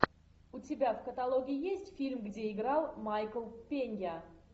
у тебя в каталоге есть фильм где играл майкл пенья